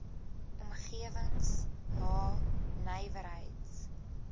omgewings h nywerheids